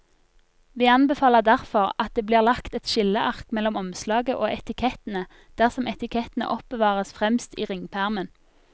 Vi anbefaler derfor at det blir lagt et skilleark mellom omslaget og etikettene dersom etikettene oppbevares fremst i ringpermen.